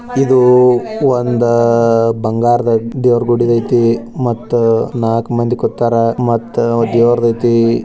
ಇದು ಒಂದು ಬಂಗಾರದ ದೇವರ ಗುಡಿ ಐತೆ ಮತ್ತೆ ನಾಕ್ ಮಂದಿ ಹೂ ತೋತಾರ ಮತ್ತೆ ದೇವರಿಗೆ --